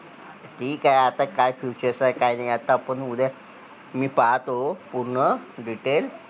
ठीक आहे आता काय features आहे काय नाही आता आपण उद्या मी पाहतो पूर्ण detail